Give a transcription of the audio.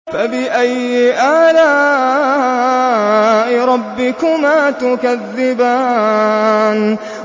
فَبِأَيِّ آلَاءِ رَبِّكُمَا تُكَذِّبَانِ